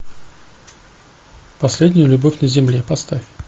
последняя любовь на земле поставь